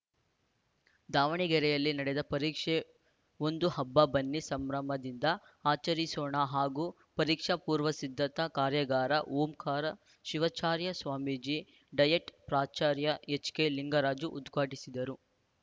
ದಾವಣಗೆರೆಯಲ್ಲಿ ನಡೆದ ಪರೀಕ್ಷೆ ಒಂದು ಹಬ್ಬ ಬನ್ನಿ ಸಂಭ್ರಮದಿಂದ ಆಚರಿಸೋಣ ಹಾಗೂ ಪರೀಕ್ಷಾ ಪೂರ್ವ ಸಿದ್ಧತಾ ಕಾರ್ಯಾಗಾರ ಓಂಕಾರ ಶಿವಾಚಾರ್ಯ ಸ್ವಾಮೀಜಿ ಡಯಟ್‌ ಪ್ರಾಚಾರ್ಯ ಎಚ್‌ಕೆಲಿಂಗರಾಜು ಉದ್ಘಾಟಿಸಿದರು